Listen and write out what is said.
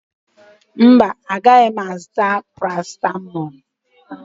Mba, agaghị m azụta parasịtamọọlụ